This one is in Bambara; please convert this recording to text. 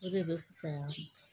O de bɛ fisaya